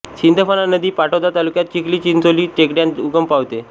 सिधंफणा नदी पाटोदा तालुक्यात चिखली चिंचोली टेकड्यांत उगम पावते